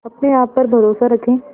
अपने आप पर भरोसा रखें